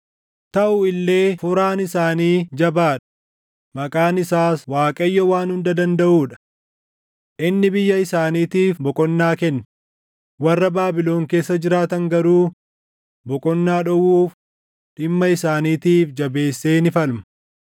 Taʼu illee Furaan isaanii jabaa dha; maqaan isaas Waaqayyo Waan Hunda Dandaʼuu dha. Inni biyya isaaniitiif boqonnaa kenne; warra Baabilon keessa jiraatan garuu boqonnaa dhowwuuf dhimma isaaniitiif jabeessee ni falma.